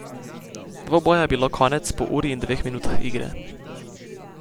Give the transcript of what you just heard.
Dvoboja je bilo konec po uri in dveh minutah igre.